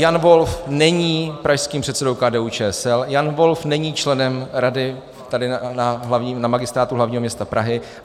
Jan Wolf není pražským předsedou KDU-ČSL, Jan Wolf není členem rady tady na Magistrátu hlavního města Prahy.